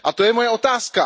A to je moje otázka.